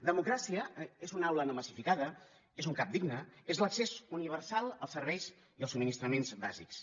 democràcia és una aula no massificada és un cap digne és l’accés universal als serveis i als subministrament bàsics